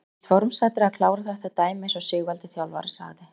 Nánast formsatriði að klára þetta dæmi eins og Sigvaldi þjálfari sagði.